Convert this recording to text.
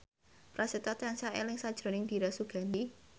Prasetyo tansah eling sakjroning Dira Sugandi